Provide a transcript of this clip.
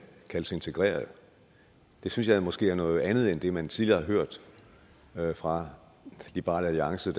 kalde sig integrerede det synes jeg måske er noget andet end det man tidligere har hørt fra liberal alliance